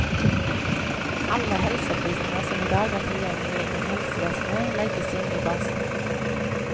Alle helseopplysninger som i dag er tilgjengelig innen helsevesenet, legges inn i basen.